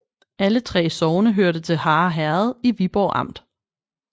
Alle 3 sogne hørte til Harre Herred i Viborg Amt